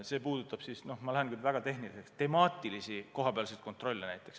See puudutab siis – ma lähen nüüd küll väga tehniliseks – näiteks temaatilisi kohapealseid kontrolle.